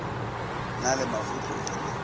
na le mafotle o re